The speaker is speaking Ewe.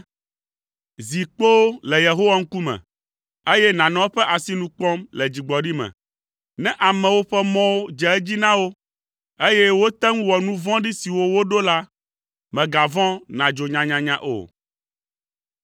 Zi kpoo le Yehowa ŋkume, eye nànɔ eƒe asinu kpɔm le dzigbɔɖi me. Ne amewo ƒe mɔwo dze edzi na wo, eye wote ŋu wɔ nu vɔ̃ɖi siwo woɖo la, mègavɔ̃ nàdzo nyanyanya o.